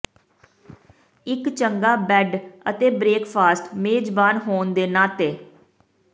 ਇੱਕ ਚੰਗਾ ਬੈੱਡ ਅਤੇ ਬ੍ਰੇਕਫਾਸਟ ਮੇਜ਼ਬਾਨ ਹੋਣ ਦੇ ਨਾਤੇ